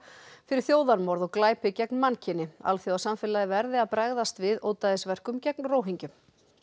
fyrir þjóðarmorð og glæpi gegn mannkyni alþjóðasamfélagið verði að bregðast við ódæðisverkum gegn